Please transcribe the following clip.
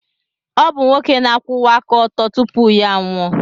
Ọ bụ nwoke na-akwụwa aka ọtọ tupu ya anwụọ.